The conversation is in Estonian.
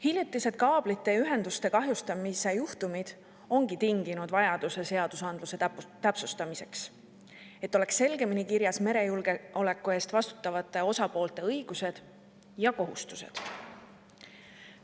Hiljutised kaablite ja ühenduste kahjustamise juhtumid ongi tinginud vajaduse õigusnormide täpsustamiseks, et oleks selgemini kirjas merejulgeoleku eest vastutavate osapoolte õigused ja kohustused.